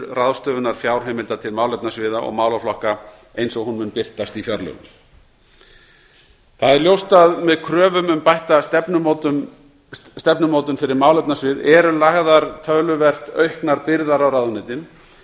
ráðstöfunar fjárheimilda til málefnasviða og málaflokka eins og hún mun birtast í fjárlögum það er ljóst að með kröfum um bætta stefnumótun fyrir málefnasvið eru lagðar töluvert auknar byrðar á ráðuneytin